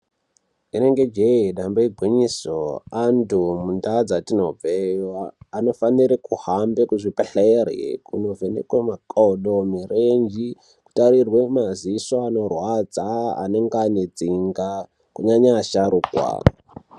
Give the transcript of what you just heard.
Inenge jee damba igwinyiso antu munda dzatinobveanofanire kuhambe kuzvibhedhleri kunovhenekwe makodo mirenje kutairrwe maziso anorwadza anenge ane tsinga kunyanya asharuka.